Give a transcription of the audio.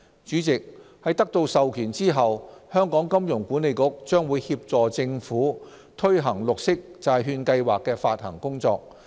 主席，在得到授權後，香港金融管理局將協助政府推行綠色債券計劃的發行工作。